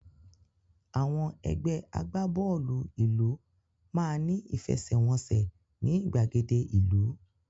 Àwọn ẹgbẹ́ agbábọ́ọ̀lù ìlú máa ní ìfẹsẹ̀wọ́nsẹ̀ ní ìgbàgede ìlú